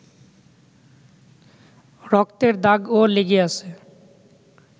রক্তের দাগও লেগে আছে